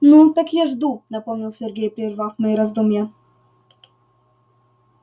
ну так я жду напомнил сергей прервав мои раздумья